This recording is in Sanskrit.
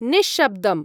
निश्शब्दम्।